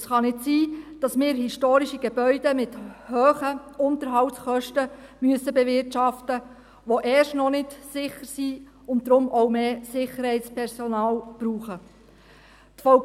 Es kann nicht sein, dass wir historische Gebäude mit hohen Unterhaltskosten bewirtschaften müssen, die erst noch nicht sicher sind und deshalb auch mehr Sicherheitspersonal verlangen.